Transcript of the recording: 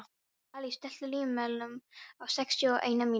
Alís, stilltu tímamælinn á sextíu og eina mínútur.